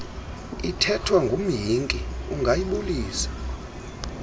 ithethwa ngumhinki ungayibulisa